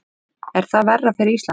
Er það verra fyrir Ísland?